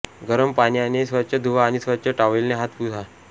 गरम पाण्याने स्वच्छ धुवा आणि स्वच्छ टॉवेलने हात पुसा